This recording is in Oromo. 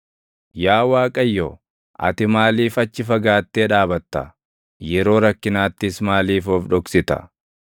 Yaa Waaqayyo, ati maaliif achi fagaattee dhaabatta? Yeroo rakkinaattis maaliif of dhoksita?